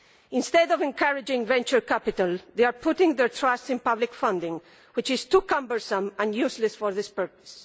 Instead of encouraging venture capital, they are putting their trust in public funding which is too cumbersome and useless for this purpose.